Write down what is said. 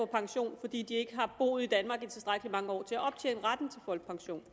pension fordi de ikke har boet i danmark i tilstrækkelig mange år til at optjene retten til folkepension